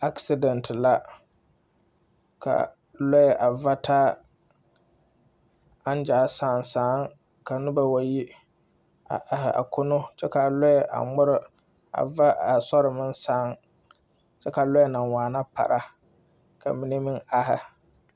'Accident' la, ka lɔɛ a vataa a zaa sãã sãã ka noba wa yi, a are a kono kyɛ ka a lɔɛ a ŋmere a va a soɛ meŋ sãã, kyɛ ka lɔɛ na waana para, ka mine meŋ are.